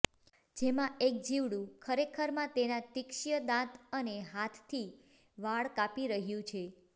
જેમાં એક જીવડું ખરેખરમાં તેના તીક્ષ્ય દાંત અને હાથથી વાળ કાપી રહ્યું છે